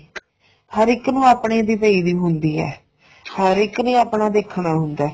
ਹਰ ਇੱਕ ਨੂੰ ਆਪਣੇ ਦੇ ਪਈ ਵੀ ਹੁੰਦੀ ਏ ਹਰ ਇੱਕ ਨੇ ਆਪਣਾ ਦੇਖਣਾ ਹੁੰਦਾ